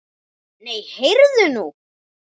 Nei, heyrðu nú.